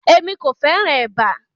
Emi ko fẹràn èbá.